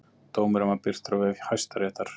Dómurinn var birtur á vef Hæstaréttar